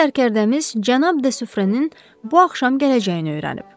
Məşhur zərgərdəmiz cənab de Sufrənin bu axşam gələcəyini öyrənib.